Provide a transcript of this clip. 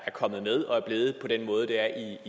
kommet med og er blevet på den måde det er